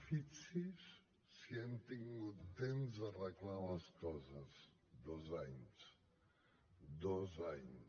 fixi’s si han tingut temps d’arreglar les coses dos anys dos anys